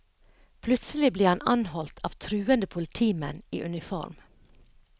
Plutselig ble han anholdt av truende politimenn i uniform.